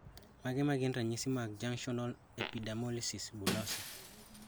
Mage magin ranyisi mag Junctional epidermolysis bullosa